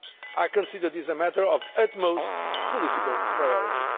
I consider this a matter of utmost political priority.